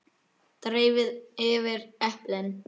Dreifið yfir eplin.